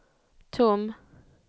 tom